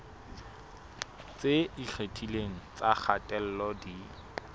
tse ikgethileng tsa kgatello di